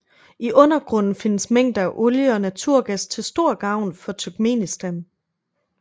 I undergrunden findes mængder af olie og naturgas til stor gavn for Turkmenistan